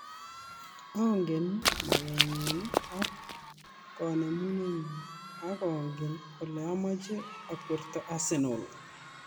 "Ongen maketnyu ak konemunetnyu ak ongen ole amache akwerito Arsenal .